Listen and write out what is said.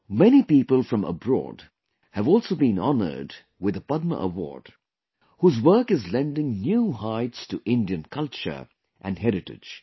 Many people from abroad have also been honored with the Padma Award, whose work is lending new heights to Indian culture and heritage